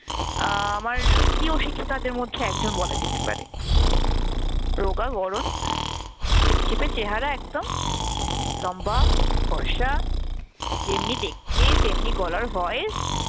আহ আমার প্রিয় শিক্ষিকাদের মধ্যে একজন বলা যেতে পারে। রোগা গড়ন, ছিপছিপে চেহারা একদম, লম্বা ফর্সা যেমনি দেখতে তেমনি গলার voice